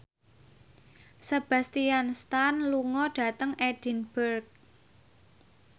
Sebastian Stan lunga dhateng Edinburgh